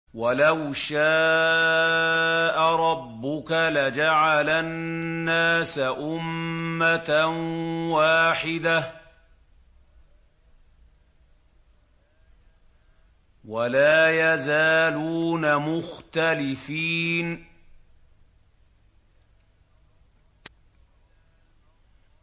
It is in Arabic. وَلَوْ شَاءَ رَبُّكَ لَجَعَلَ النَّاسَ أُمَّةً وَاحِدَةً ۖ وَلَا يَزَالُونَ مُخْتَلِفِينَ